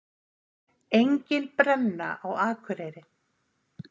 Engin brenna á Akureyri